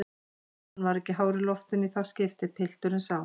Hann var ekki hár í loftinu í það skiptið, pilturinn sá.